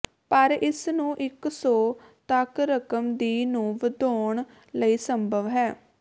ਪਰ ਇਸ ਨੂੰ ਇੱਕ ਸੌ ਤੱਕ ਰਕਮ ਦੀ ਨੂੰ ਵਧਾਉਣ ਲਈ ਸੰਭਵ ਹੈ